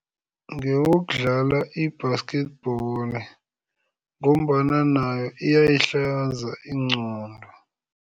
Ngewokudlala i-basketball ngombana nayo iyayihlanza ingqondo.